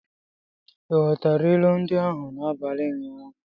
Ị ghọtara ilu ndị ahụ n'abalị ụnyaahụ?